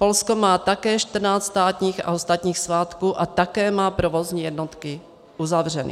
Polsko má také 14 státních a ostatních svátků a také má provozní jednotky uzavřeny.